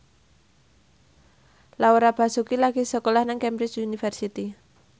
Laura Basuki lagi sekolah nang Cambridge University